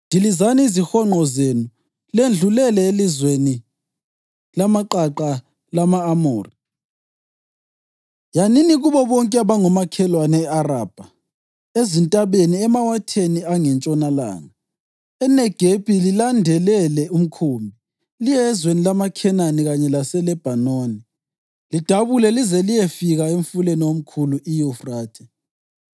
Dilizani izihonqo zenu ledlulele elizweni lamaqaqa lama-Amori; yanini kubo bonke abangomakhelwane e-Arabha, ezintabeni, emawatheni angentshonalanga, eNegebi lilandelele ukhumbi, liye ezweni lamaKhenani kanye laseLebhanoni, lidabule lize liyefika emfuleni omkhulu, iYufrathe.